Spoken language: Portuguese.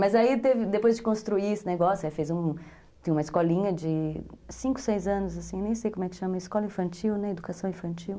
Mas aí, teve, depois de construir esse negócio, aí fez , tinha uma escolinha de cinco, seis anos, nem sei como é que chama, escola infantil, educação infantil.